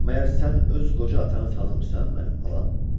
Məgər sən öz qoca atanı tanımırsan, mənim balam?